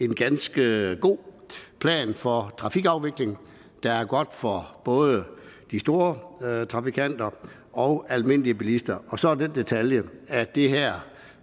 en ganske god plan for trafikafvikling der er god for både de store trafikanter og almindelige bilister og så er der den detalje at det her